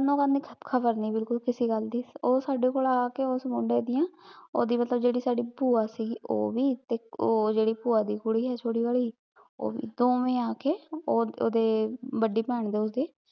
ਨਾ ਓਹਨਾਂ ਨੇ ਖ਼ਪ ਖ਼ਪ ਕਰਨੀ ਬਿਲਕੁਲ ਕਿਸੇ ਗਲ ਦੀ ਊ ਸਾਡੇ ਕੋਲ ਆ ਕੇ ਓਸ ਮੁੰਡੇ ਡਿਯਨ ਓਹਦੇ ਵਲੋਂ ਜੇਰੀ ਸਾਡੀ ਪੁਆ ਸੀਗੀ ਊ ਵੀ ਤੇ ਊ ਜੇਰੀ ਪੁਆ ਦੀ ਕੁੜੀ ਹੈ ਛੋਟੇ ਵਾਲੀ ਊ ਵੀ ਦੋਵੇਂ ਆ ਕੇ ਵਾਦੇ ਪੈਣ ਦੇ ਓਹਦੇ